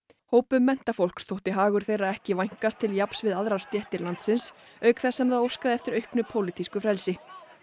hópum menntafólks þótti hagur þeirra ekki vænkast til jafns við aðrar stéttir landsins auk þess sem það óskaði eftir auknu pólitísku frelsi